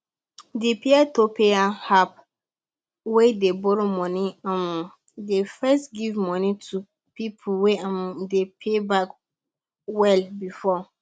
the peertopeer app wey dey borrow money um dey first give money to people wey um dey pay back well before